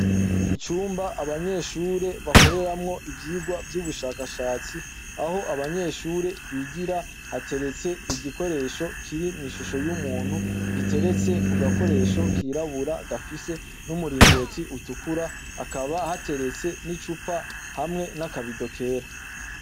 Icumba abanyeshure bakoreramwo ivyigwa vy'ubushakashatsi aho abanyeshure bigira hateretse igikoresho kiri mw'ishusho y'umuntu giteretse ku gakoresho kirabura gafise n'umuringoti utukura hakaba hateretse n'icupa hamwe n'akabido yera.